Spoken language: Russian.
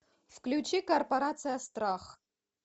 включи корпорация страх